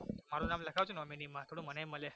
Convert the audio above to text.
મારુ નામ લખાવજો nominee માં થોડો મનેય મલે